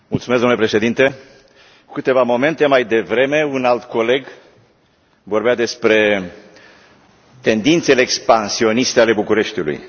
Domnule președinte, cu câteva momente mai devreme, un alt coleg vorbea despre tendințele expansioniste ale Bucureștiului.